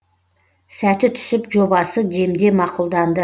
сәті түсіп жобасы демде мақұлданды